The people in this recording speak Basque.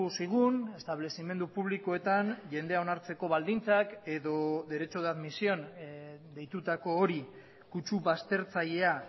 zigun establezimendu publikoetan jendea onartzeko baldintzak edo derecho de admisión deitutako hori kutsu baztertzailea